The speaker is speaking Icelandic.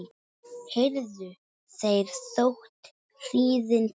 heyrðu þeir þótt hríðin blási